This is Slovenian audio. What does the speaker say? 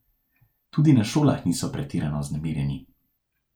Tudi na šolah niso pretirano vznemirjeni.